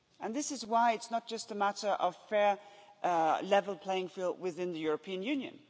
This is why it's not just a matter of a fair level playing field within the European Union.